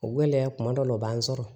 O gɛlɛya kuma dɔ la o b'an sɔrɔ